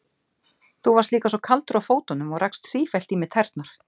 Þú varst líka svo kaldur á fótunum og rakst sífellt í mig tærnar.